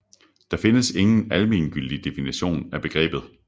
Der findes ingen almengyldig definition af begrebet